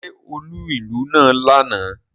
Ṣé ó lù ìlú náà lánàá?